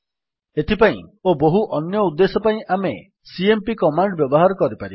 ଏଥିପାଇଁ ଓ ବହୁ ଅନ୍ୟ ଉଦ୍ଦେଶ୍ୟ ପାଇଁ ଆମେ ସିଏମ୍ପି କମାଣ୍ଡ୍ ବ୍ୟବହାର କରିପାରିବା